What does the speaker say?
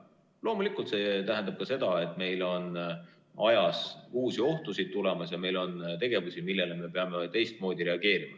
Loomulikult tähendab see ka seda, et meil on uusi ohtusid tulemas ja meil on tegevusi, millele me peame teistmoodi reageerima.